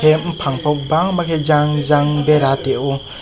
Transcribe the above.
bopang po bangma ke jang jang bera tiyo.